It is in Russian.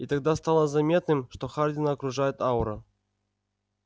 и тогда стало заметным что хардина окружает аура